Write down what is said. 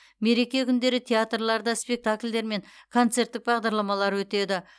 мереке күндері театрларда спектакльдер мен концерттік бағдарламалар өтеді